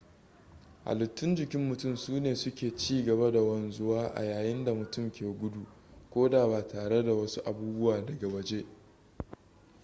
halittun jikin mutum sune suke ci gaba da wanzuwa a yayin da mutum ke gudu ko da ba tare da wasu abubuwa daga waje/gefe